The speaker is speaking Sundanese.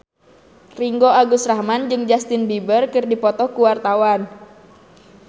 Ringgo Agus Rahman jeung Justin Beiber keur dipoto ku wartawan